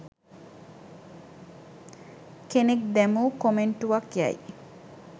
කෙනෙක් දැමූ කොමෙන්ටුවක් යැයි